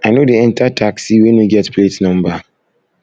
i no dey enta taxi wey no get plate number